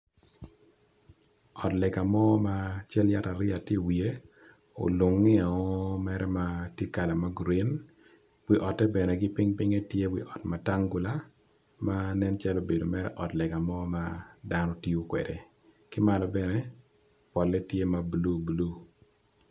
Ot lega ma cal yat ariya tye i wiye olunge o mere ma kalane tye magreen wi ote bene gipipinge tye wiot matangula ma nen calo obedo mere ot lega madano tiyo kwede kimalo bene polle tye mablue blue.